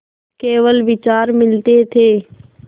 केवल विचार मिलते थे